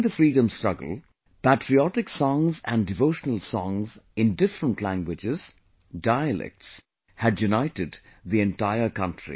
During the freedom struggle patriotic songs and devotional songs in different languages, dialects had united the entire country